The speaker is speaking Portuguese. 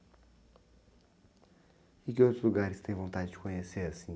E que outros lugares você tem vontade de conhecer, assim?